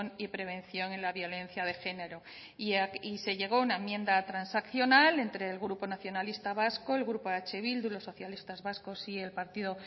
y prevención en la violencia de género y se llegó a una enmienda transaccional entre el grupo nacionalista vasco el grupo eh bildu los socialistas vascos y el partido